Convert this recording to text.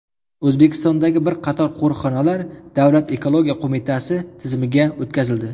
O‘zbekistondagi bir qator qo‘riqxonalar Davlat ekologiya qo‘mitasi tizimiga o‘tkazildi.